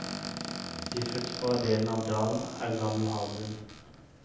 De fruktbare delene av dalen er gammel havbunn.